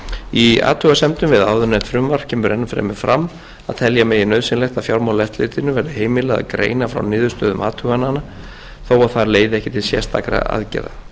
í athugasemdum við áðurnefnt frumvarp kemur enn fremur fram að telja megi nauðsynlegt að fjármálaeftirlitinu verði heimilað að greina frá niðurstöðum athugana þó að þær leiði ekki til sérstakra aðgerða